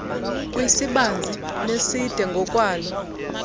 kwisibanzi neside ngokwaloo